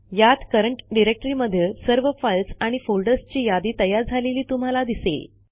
यात करंट डिरेक्टरीमधील सर्व फाईल्स आणि फोल्डर्सची यादी तयार झालेली तुम्हाला दिसेल